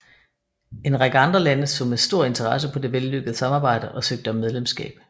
En række andre lande så med stor interesse på det vellykkede samarbejde og søgte om medlemskab